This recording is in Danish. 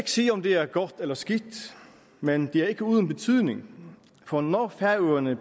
sige om det er godt eller skidt men det er ikke uden betydning for når færøerne